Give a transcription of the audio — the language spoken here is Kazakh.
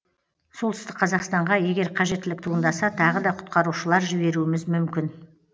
солтүстік қазақстанға егер қажеттілік туындаса тағы да құтқарушылар жіберуіміз мүмкін